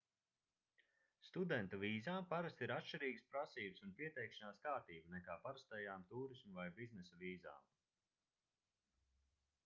studentu vīzām parasti ir atšķirīgas prasības un pieteikšanās kārtība nekā parastajām tūrisma vai biznesa vīzām